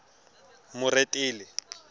moretele